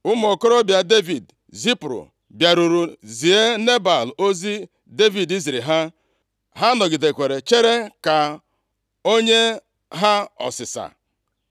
Ụmụ okorobịa Devid zipụrụ bịarutere zie Nebal ozi Devid ziri ha. Ha nọgidekwara chere ka onye ha ọsịsa.